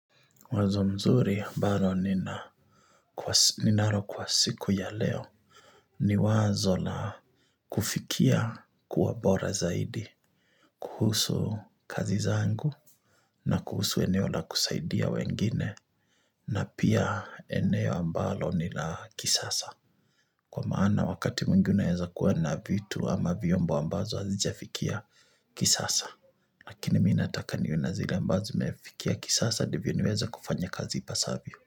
Wazo mzuri ambalo ninaro kwa siku ya leo ni wazo la kufikia kuwa bora zaidi, kuhusu kazi zangu na kuhusu eneo la kusaidia wengine na pia eneo mbalo nila kisasa. Kwa maana wakati mwingi unaweza kuwa na vitu ama vyombo ambazo hazijafikia kisasa. Lakini mimi naataka nione zile ambazo imefikia kisasa ndivyo niweza kufanya kazi ipasavyo.